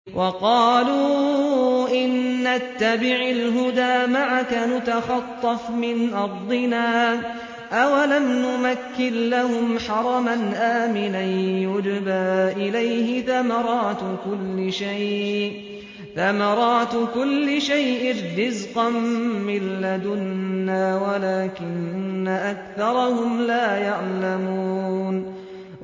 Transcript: وَقَالُوا إِن نَّتَّبِعِ الْهُدَىٰ مَعَكَ نُتَخَطَّفْ مِنْ أَرْضِنَا ۚ أَوَلَمْ نُمَكِّن لَّهُمْ حَرَمًا آمِنًا يُجْبَىٰ إِلَيْهِ ثَمَرَاتُ كُلِّ شَيْءٍ رِّزْقًا مِّن لَّدُنَّا وَلَٰكِنَّ أَكْثَرَهُمْ لَا يَعْلَمُونَ